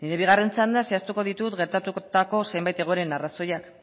bigarren txandan zehaztuko ditut gertatutako zenbait egoeren arrazoiak